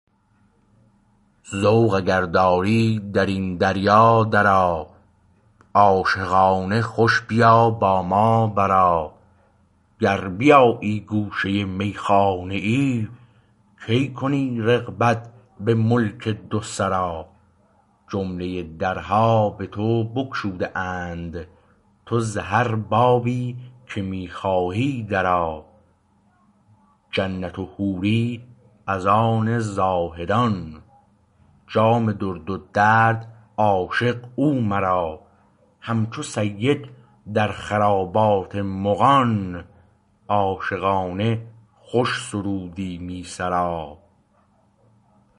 ذوق اگر داری در این دریا درآ عاشقانه خوش بیا با ما برآ گر بیابی گوشه میخانه ای کی کنی رغبت به ملک دو سرا جمله درها به تو بگشوده اند تو ز هر بابی که می خواهی درآ جنت و حوری از آن زهدان جام درد و درد عشق او مرا همچو سید در خرابات مغان عاشقانه خوش سرودی می سرا